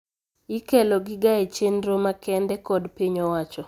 Ikelo giaga e chendro makende kod piny owacho